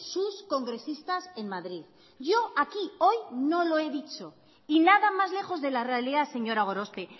sus congresistas en madrid yo aquí hoy no lo he dicho y nada más lejos de la realidad señora gorospe